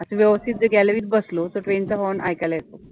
व्यवस्थित जर gallery त बसलो तर train चा horn ऐकायला येतो.